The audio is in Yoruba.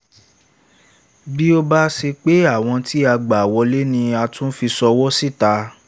bí ó bá ṣe pé àwọn tí a gbà wọlé ni a tún fi ṣọwọ́ síta